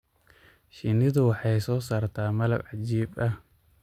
Shinnidu waxay soo saartaa malab cajiib ah.